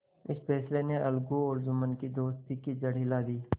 इस फैसले ने अलगू और जुम्मन की दोस्ती की जड़ हिला दी